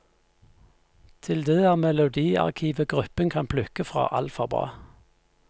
Til det er melodiarkivet gruppen kan plukke fra alt for bra.